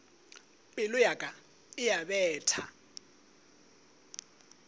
pelo ya ka e betha